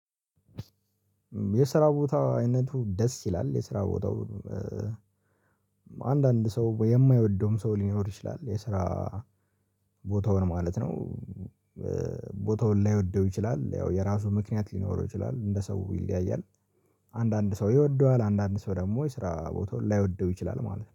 የስራ ቦታ አይነቱ ደስ ይላል የስራ ቦታው አንዳንድ ሰው የማይወደውም ሰው ሊኖር ይችላል የስራ ቦታውን ማለት ነው። ቦታውን ላይወደው ይችላል ያው የራሱ ምክንያት ሊኖረው ይችላል እንደ ሰው ይለያያል። አንዳንድ ሰው ይወደዋል አንዳንድ ሰው ደግሞ የስራ ቦታውን ላይወደው ይችላል ማለት ነው